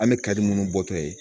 An bɛ kari minnu bɔtɔ ye